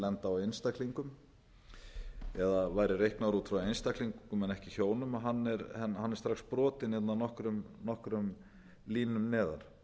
lenda á einstaklingum eða væri reiknaður út frá einstaklingum en ekki hjónum hann er strax brotinn hérna nokkrum línum neðar